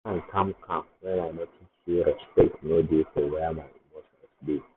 i yarn calm-calm when i notice sey respect no dey for where my emotions dey.